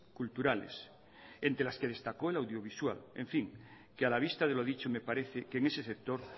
culturales entre las que destacó la audiovisual en fin que a la vista de lo dicho me parece que en ese sector